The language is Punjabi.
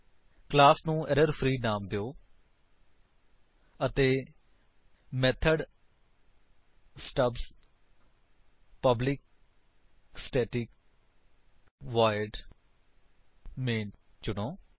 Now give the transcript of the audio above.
ਕਲਾਸ ਨੂੰ ਐਰਰ ਫ੍ਰੀ ਨਾਮ ਦਿਓ ਅਤੇ method stubs public static void main ਚੁਣੋ